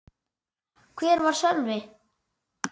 Hvar var Sölvi?